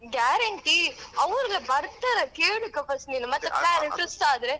Guarantee ಅವ್ರೆ ಬರ್ತಾರಾ ಕೇಳ್ಬೇಕಾ first ನೀನ್ ಮತ್ತೆ plan twist ಆದ್ರೆ.